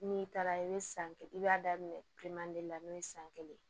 N'i taara i bɛ san kelen i b'a daminɛ kilema de la n'o ye san kelen